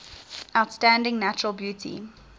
outstanding natural beauty